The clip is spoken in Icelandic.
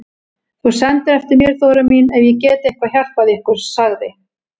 Þú sendir eftir mér Þóra mín ef ég get eitthvað hjálpað ykkur, sagði